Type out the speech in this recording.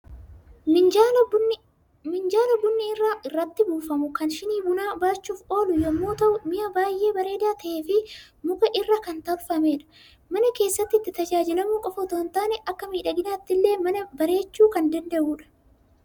Minjaala bunni irratti buufamu, kan shinii bunaa baachuuf oolu yommuu ta'u, mi'a baay'ee bareedaa ta'ee fi muka irraa kan tolfamedha. Mana keessatti itti tajaajilamuu qofa otoo hin taane akka miidhaginaatti illee mana bareechuu kan danda’udha.